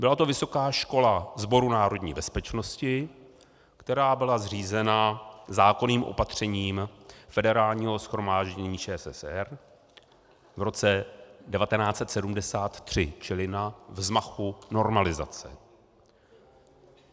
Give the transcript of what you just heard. Byla to Vysoká škola Sboru národní bezpečnosti, která byla zřízena zákonným opatřením Federálního shromáždění ČSSR v roce 1973, čili na vzmachu normalizace.